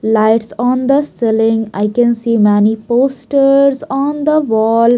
Lights on the ceiling i can see many posters on the wall.